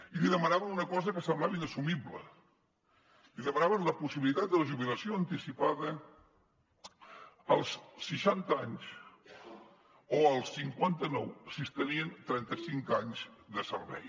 i li demanaven una cosa que semblava inassumible li demanaven la possibilitat de la jubilació anticipada als seixanta anys o als cinquanta nou si es tenien trenta cinc anys de servei